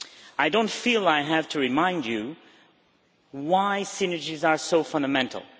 I do not feel I have to remind you why synergies are so fundamental.